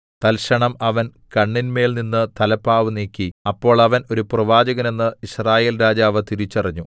തൽക്ഷണം അവൻ കണ്ണിന്മേൽനിന്ന് തലപ്പാവ് നീക്കി അപ്പോൾ അവൻ ഒരു പ്രവാചകനെന്ന് യിസ്രായേൽ രാജാവ് തിരിച്ചറിഞ്ഞു